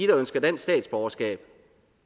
der ønsker dansk statsborgerskab